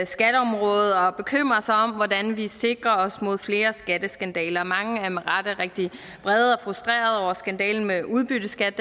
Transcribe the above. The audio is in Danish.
skatteområdet og bekymrer sig om hvordan vi sikrer os mod flere skatteskandaler og mange er med rette rigtig vrede og frustrerede over skandalen med udbytteskat